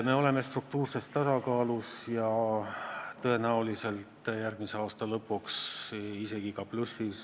Me oleme struktuurses tasakaalus ja tõenäoliselt järgmise aasta lõpuks isegi plussis.